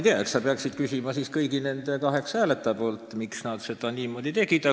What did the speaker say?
Eks sa peaksid küsima kõigi nende kaheksa hääletaja käest, miks nad niimoodi tegid.